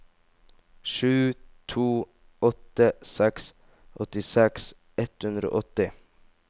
sju to åtte seks åttiseks ett hundre og åtti